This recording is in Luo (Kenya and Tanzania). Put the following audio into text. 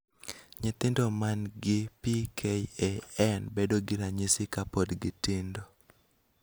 nythindo man gi PKAN bedo gi ranyisi kapod gitindo